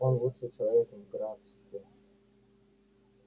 он лучший человек в графстве